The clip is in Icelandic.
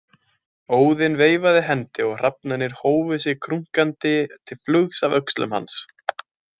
Óðinn veifaði hendi og hrafnarnir hófu sig krunkandi til flugs af öxlum hans.